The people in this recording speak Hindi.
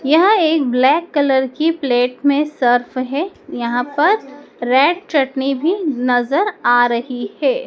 यह एक ब्लैक कलर की प्लेट में सर्फ है यहां पर रेड चटनी भी नजर आ रही है।